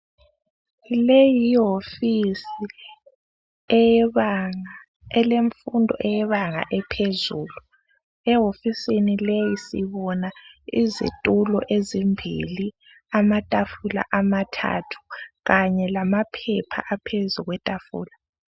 Leyi yihofisi eyebenga ,elenfundo eyebanga ephezulu .Ehofisini leyi sibona izithulo ezimbili ,amathafula amathathu kanye lamaphepha aphezukwethafula.